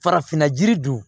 Farafinna jiri dun